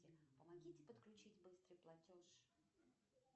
помогите подключить быстрый платеж